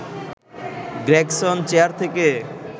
Gregson chair থেকে